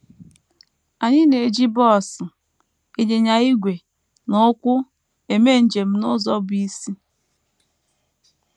Anyị na - eji bọs, ịnyịnya ígwè, na ụkwụ eme njem n’ụzọ bụ́ isi.